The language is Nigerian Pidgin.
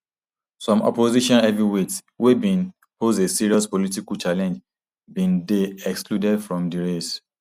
some opposition heavyweights wey bin pose a serious political challenge bin dey excluded from di race